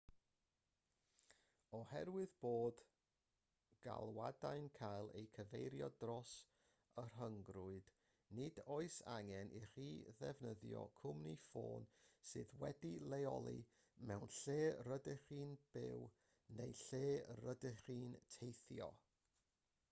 oherwydd bod galwadau'n cael eu cyfeirio dros y rhyngrwyd nid oes angen i chi ddefnyddio cwmni ffôn sydd wedi'i leoli lle rydych chi'n byw neu lle rydych chi'n teithio